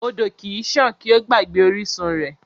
Odò kì í sàn kí ó gbàgbé orísun rẹ̀.